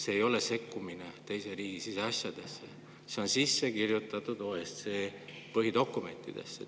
See ei ole sekkumine teise riigi siseasjadesse, see on sisse kirjutatud OSCE põhidokumentidesse.